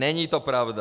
Není to pravda.